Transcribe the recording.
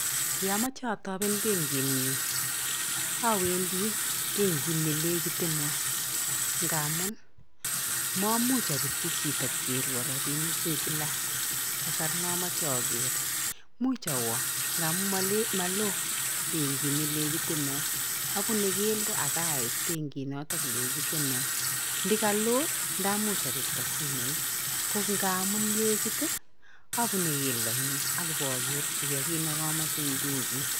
Yaamache ataben bankit nyu awendi bankit nelekiteno ngaamun maamuch apirchi chito kokerwa robinik kila kasar nemache aker muuch awa ngaamu maloo bankit nelekiteno abune keldo akait bankit notok lekiteno ndikaloo ndaamuch apirta simoit ngo aamun lekit abune geldo nyun akoba gerchikei kiit negaachache eng bankiit